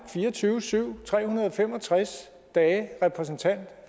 fire og tyve syv tre hundrede og fem og tres dage repræsentant